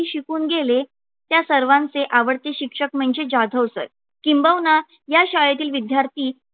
शिकून गेले त्या सर्वांचे आवडते. शिक्षक म्हणजे जाधव sir किंबहुना या शाळेतील विद्यार्थी